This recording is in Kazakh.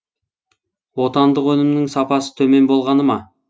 отандық өнімнің сапасы төмен болғаны ма